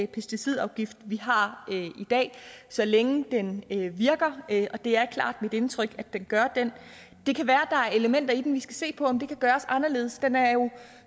pesticidafgift vi har i dag så længe den virker og det er klart mit indtryk at den gør det det kan være der er elementer i den vi skal se på om kan gøres anderledes den er jo